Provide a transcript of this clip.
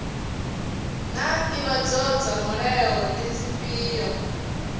naa ndivho dza mulayo ndi dzifhio